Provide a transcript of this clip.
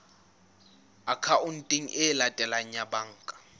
akhaonteng e latelang ya banka